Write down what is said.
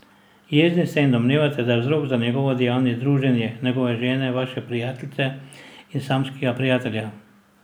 Jezni ste in domnevate, da je vzrok za njegovo dejanje druženje njegove žene, vaše prijateljice, in samskega prijatelja.